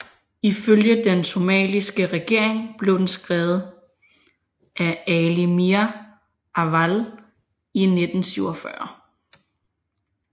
Ifølge den somaliske regering blev den skrevet af Ali Mire Awale i 1947